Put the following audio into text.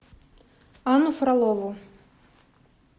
анну фролову